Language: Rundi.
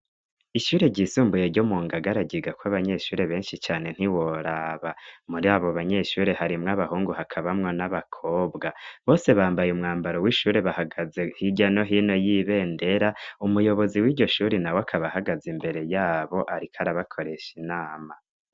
Ishure ryisumbuye ryo mu Ngagara ryigako abanyeshure benshi cane ntiworaba. Muri abo banyeshure harimwo abahungu hakabamwo n'abakobwa. Bose bambaye umwambaro w'ishure bahagaze hirya no hino y'ibendera, umuyobozi w'iryo shure na we akaba ahagaze imbere yabo, ariko arabakoresha inama.